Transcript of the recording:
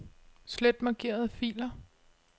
Slet markerede filer.